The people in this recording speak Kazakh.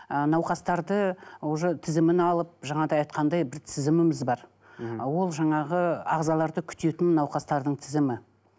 ы науқастарды уже тізімін алып жаңағыдай айтқандай бір тізіміміз бар ол жаңағы ағзаларды күтетін науқастардың тізімі